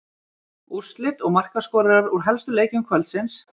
Úrslit og markaskorarar úr helstu leikjum kvöldsins: